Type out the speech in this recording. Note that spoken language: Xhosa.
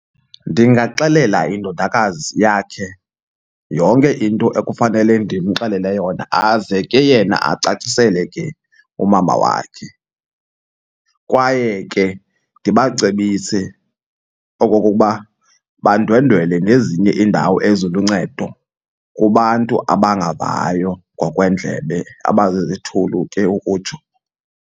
Ndingaxelela indodakazi yakhe yonke into ekufanele ndimxelele yona aze ke yena acacisele ke umama wakhe. Kwaye ke ndibacebise okokuba bandwendwele nezinye iindawo eziluncedo kubantu abangavayo ngokweendlebe abazizithulu ke ukutsho.